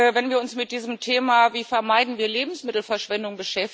wenn wir uns mit dem Thema Wie vermeiden wir Lebensmittelverschwendung?